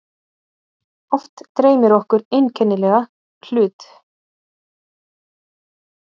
Oft dreymir okkur einkennilega hlut.